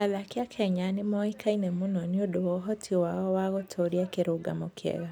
Athaki a Kenya nĩ moĩkaine mũno nĩ ũndũ wa ũhoti wao wa gũtũũria kĩrũgamo kĩega.